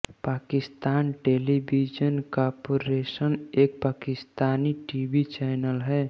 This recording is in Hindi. पाकिस्तान टेलीविज़न कार्पोरेशन एक पाकिस्तानी टीवी चैनल है